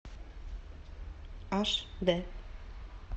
аш д